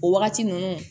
O wagati ninnu